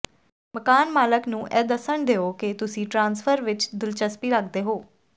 ਮਕਾਨ ਮਾਲਕ ਨੂੰ ਇਹ ਦੱਸਣ ਦਿਓ ਕਿ ਤੁਸੀਂ ਟ੍ਰਾਂਸਫਰ ਵਿੱਚ ਦਿਲਚਸਪੀ ਰੱਖਦੇ ਹੋ